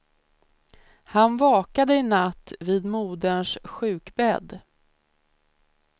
Han vakade i natt vid moderns sjukbädd.